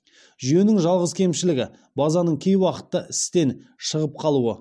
жүйенің жалғыз кемшілігі базаның кей уақытта істен шығып қалуы